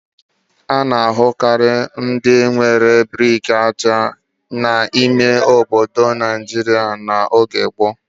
A na-ahụkarị ụlọ ndị nwere brik aja n'ime ime obodo Nigeria n'oge gboo.